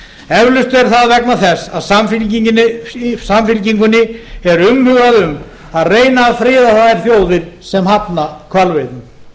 eflaust er það vegna þess að samfylkingunni er umhugað um að reyna að friða þær þjóðir sem hafna hvalveiðum